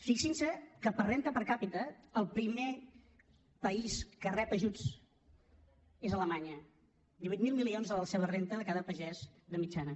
fixin se que per renda per capitarep ajuts és alemanya divuit mil milions de la seva renda de cada pagès de mitjana